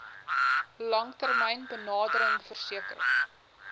langtermyn benadering verseker